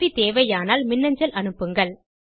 உதவி தேவையானால் மின்னஞ்சல் அனுப்புங்கள்